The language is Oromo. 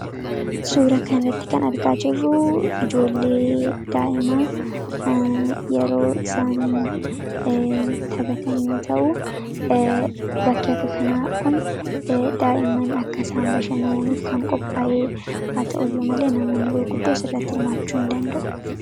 suura kanratti kan argaa jirruu ijoollee daa'ima yeroo isaan taphatanyoo ta'uu bakkee akka kanaa kun daa'iman akkasaan bashanaaniif kan qophaa'ee haa ta'uu iyyuu malee namoonni gurguddoo sarratti hirmaachuu hin danda'u